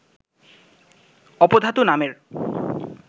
উপধাতু নামের